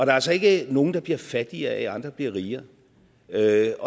er altså ikke nogen der bliver fattigere af at andre bliver rigere det er